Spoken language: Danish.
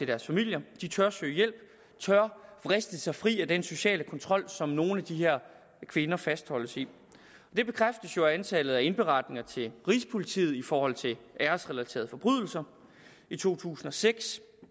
deres familier de tør søge hjælp tør vriste sig fri af den sociale kontrol som nogle af de her kvinder fastholdes i det bekræftes jo af antallet af indberetninger til rigspolitiet i forhold til æresrelaterede forbrydelser i to tusind og seks